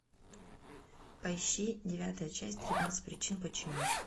поищи девятая часть тринадцать причин почему